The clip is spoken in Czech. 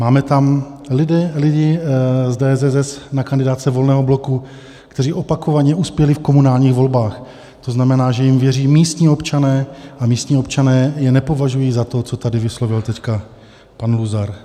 Máme tam lidi z DSSS na kandidátce Volného bloku, kteří opakovaně uspěli v komunálních volbách, to znamená, že jim věří místní občané, a místní občané je nepovažují za to, co tady vyslovil teď pan Luzar.